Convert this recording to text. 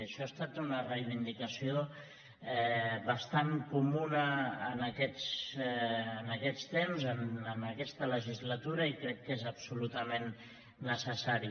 això ha estat una reivindicació bastant comuna en aquests temps en aquesta legislatura i crec que és absolutament necessari